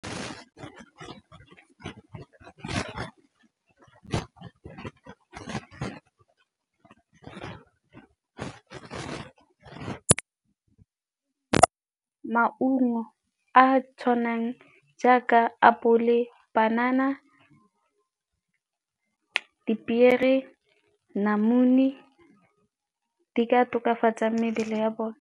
Maungo a tshwanang jaaka apole, banana, dipiere, namune di ka tokafatsa mebele ya bone.